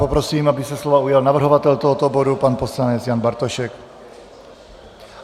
Poprosím, aby se slova ujal navrhovatel tohoto bodu pan poslanec Jan Bartošek.